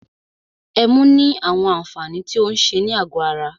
Ẹmu ní àwọn àǹfààní tí o ń ṣe ní àgọ ara.